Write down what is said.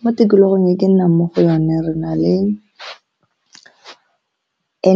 Mo tikologong e ke nnang mo go yone re na le